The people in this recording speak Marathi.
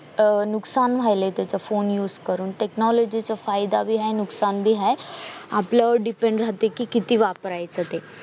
अह नुकसान व्हायलंय त्याच फोन use करून technology चा फायदा पण हाय नुकसान भी हाय आपल्यावर depend राहतेकि किती वापरायचं ते